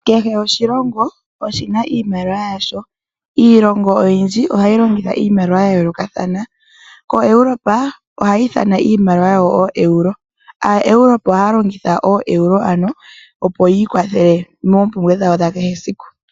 Kehe oshilongo oshi na iimaliwa yasho. Iilongo oyindji oha yi longitha iimaliwa ya yoolokathana. KoEuropa ohaa ithana iimaliwa yawo ooEuro. AaEuropa ohaa longitha ooEuro ano opo yi ikwathele moompumbwe dhawo dha kehe esiku.